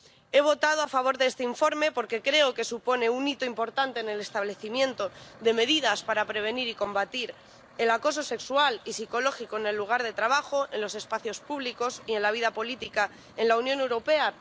He votado a favor de este informe porque creo que supone un hito importante en el establecimiento de medidas para prevenir y combatir el acoso sexual y psicológico en el lugar de trabajo, en los espacios públicos y en la vida política en la Unión Europea.